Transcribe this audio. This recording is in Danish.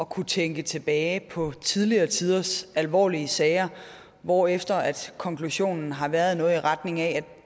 kunne tænke tilbage på tidligere tiders alvorlige sager hvorefter konklusionen har været noget i retning af